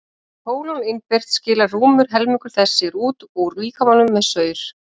sé pólon innbyrt skilar rúmur helmingur þess sér út úr líkamanum með saur